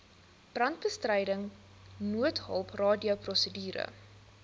brandbestryding noodhulp radioprosedure